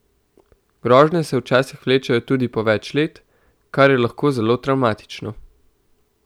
Grožnje se včasih vlečejo tudi po več let, kar je lahko zelo travmatično.